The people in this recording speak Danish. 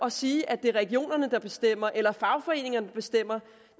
at sige at det er regionerne der bestemmer eller fagforeningerne der bestemmer